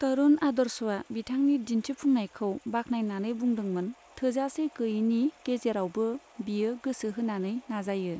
तरुण आदर्शआ बिथांनि दिन्थिफुंनायखौ बाखनायनानै बुंदोंमोन थोजासे गैयैनि गेजेरावबो, बियो गोसो होनानै नाजायो।